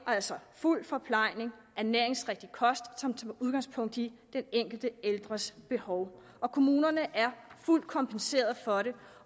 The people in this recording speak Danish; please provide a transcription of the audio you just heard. altså fuld forplejning ernæringsrigtig kost som tager udgangspunkt i den enkelte ældres behov og kommunerne er fuldt kompenseret for det